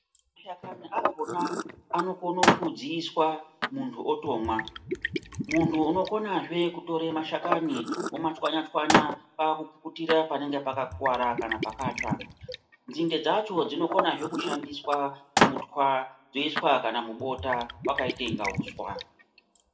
Mashakani akona anokona kudziswa muntu otomwa. Muntu unokonazve kutora mashakani omatswanya-tswanya kwakupukutira panenge pakakuvara kana pakatsva. Nzinde dzacho dzinokonazve kushandiswa kutwa dzoiswa kana mubota vakaite kunga huswa.